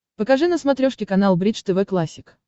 покажи на смотрешке канал бридж тв классик